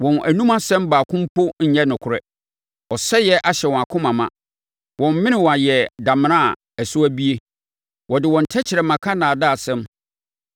Wɔn anom asɛm baako mpo nyɛ nokorɛ; ɔsɛeɛ ahyɛ wɔn akoma ma. Wɔn menewa yɛ damena a ɛso abue wɔde wɔn tɛkrɛma ka nnaadaasɛm.